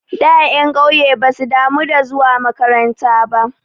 Da ƴan ƙauye basu damu da zuwa makaranta ba.